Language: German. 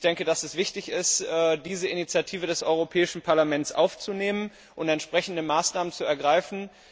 Ich denke, dass es wichtig ist, diese Initiative des Europäischen Parlaments aufzunehmen und entsprechende Maßnahmen zu ergreifen.